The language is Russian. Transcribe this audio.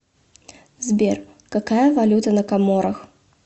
сбер какая валюта на коморах